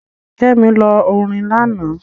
Kẹ́mi lọ orin lánàá.